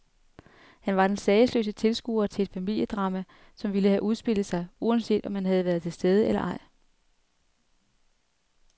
Han var den sagesløse tilskuer til et familiedrama, som ville have udspillet sig, uanset om han havde været til stede eller ej.